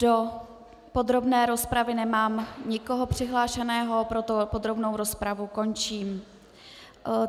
Do podrobné rozpravy nemám nikoho přihlášeného, proto podrobnou rozpravu končím.